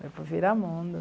Foi para o Viramundo.